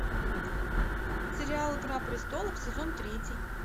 сериал игра престолов сезон третий